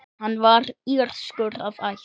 Hann var írskur að ætt.